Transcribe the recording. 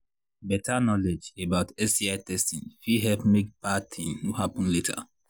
better knowledge about sti testing fit help make bad thing no happen later